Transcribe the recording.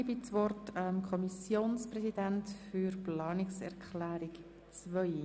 Als Nächstes hat der FiKo-Präsident das Wort, um sich zur Planungserklärung 2 zu äussern.